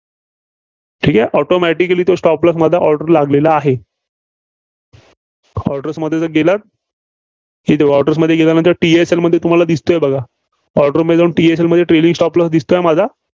ठीक आहे? automatically तो stop loss माझा order लागलेला आहे. orders मध्ये जर, गेलात कि तो orders मध्ये गेल्यानंतर TSL मध्ये तुम्हाला दिसतोय बघा. orders मध्ये TSL मध्ये trailing stop loss दिसतोय माझा?